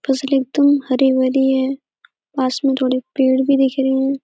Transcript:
फ़सल एकदम हरी-भरी है। पास में थोड़ी पेड़ भी दिख रही हैं।